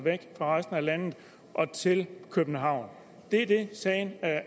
fra resten af landet til københavn det er det sagen